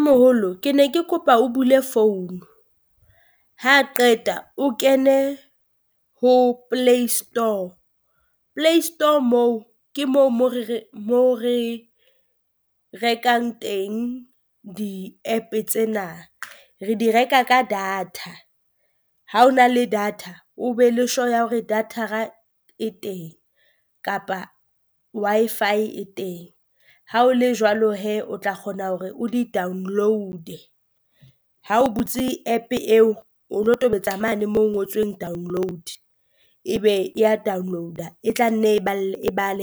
Moholo ke ne ke kopa o bule phone, ha qeta o kene ho Play Store, Play Store moo ke moo mo re re mo re rekang teng di app tsena, re di reka ka data. Ha o na le data o be le sure ya hore data-ra e teng kapa Wi-Fi e teng, ha o le jwalo hee o tla kgona hore o di Download-e ha o butse app eo o lo tobetsa mane mo ho ngotsweng download. Ebe e ya download-a e tla nne e e bale